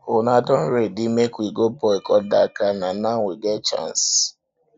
una don ready make we go boycott dat car na now we get chance